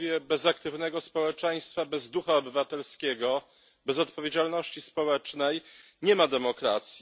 Bez aktywnego społeczeństwa, bez ducha obywatelskiego, bez odpowiedzialności społecznej nie ma demokracji.